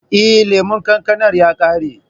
Eh, lemon kankanar ya ƙare.